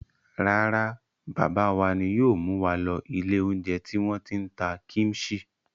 Rárá, bàbá wa ni yóò mú wa lọ ilé-oúnjẹ tí wọ́n ti ń ta kíḿṣì.